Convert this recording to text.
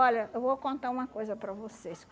Olha, eu vou contar uma coisa para vocês.